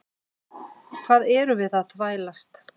Hvað erum við að þvælast?